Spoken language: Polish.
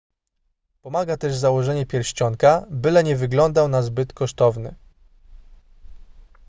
pomaga też założenie pierścionka byle nie wyglądał na zbyt kosztowny